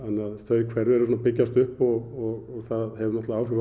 þau hverfi eru að byggjast upp og það hefur náttúrlega áhrif